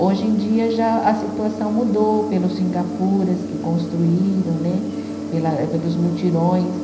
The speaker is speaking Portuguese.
Hoje em dia já a situação mudou pelos singapuras que construíram né, pela eh pelos mutirões.